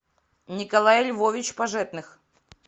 николай львович пожетных